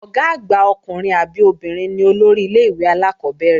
Ọ̀gá àgbà ọkùnrin àbí obìnrin ni olórí ilé-ìwé alákọ́bẹ̀rẹ̀